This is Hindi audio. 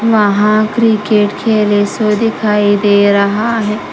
वहा क्रिकेट खेले शो दिखाई दे रहा है।